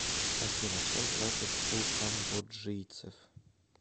афина чем платят у камбоджийцев